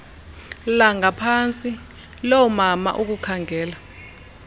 langaphantsi loomama ukukhangela